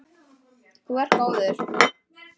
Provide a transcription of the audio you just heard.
Þú ert góður!